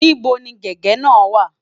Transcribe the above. Níbo ni gègé náà wà?